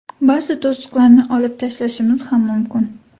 Ba’zi to‘siqlarni olib tashlashimiz ham mumkin.